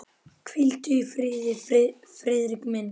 Hvíldu í friði, Friðrik minn.